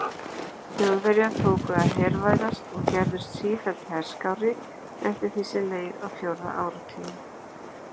Þjóðverjar tóku að hervæðast og gerðust sífellt herskárri eftir því sem leið á fjórða áratuginn.